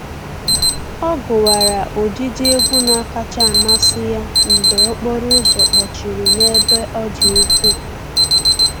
Ọ gụwara ụdịdị egwu na-akacha amasị ya mgbe okporo ụzọ kpọchiri n'ebe ọ dị ukwuu